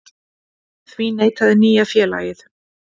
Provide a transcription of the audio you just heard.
Því neitaði nýja félagið